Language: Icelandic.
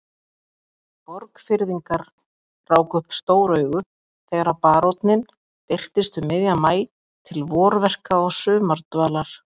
Borgfirðingar ráku upp stór augu þegar baróninn birtist um miðjan maí til vorverka og sumardvalar.